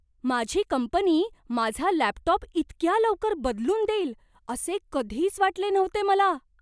माझी कंपनी माझा लॅपटॉप इतक्या लवकर बदलून देईल असे कधीच वाटले नव्हते मला!